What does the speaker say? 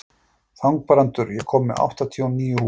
Þangbrandur, ég kom með áttatíu og níu húfur!